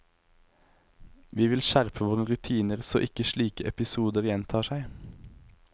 Vi vil skjerpe våre rutiner så ikke slike episoder gjentar seg.